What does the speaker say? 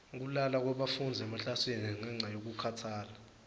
kulala kwebafundzi emaklasini ngenca yekukhatsala